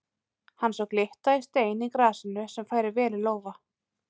Hann sá glitta í stein í grasinu sem færi vel í lófa.